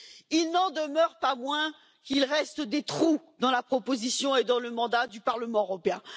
Il n'en demeure pas moins qu'il reste des trous dans la proposition et dans le mandat du Parlement européen.